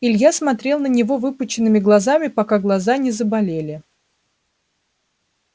илья смотрел на него выпученными глазами пока глаза не заболели